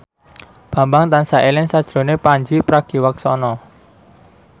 Bambang tansah eling sakjroning Pandji Pragiwaksono